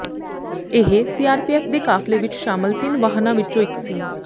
ਇਹ ਸੀਆਰਪੀਐਫ ਦੇ ਕਾਫ਼ਲੇ ਵਿਚ ਸ਼ਾਮਲ ਤਿੰਨ ਵਾਹਨਾਂ ਵਿਚੋਂ ਇਕ ਸੀ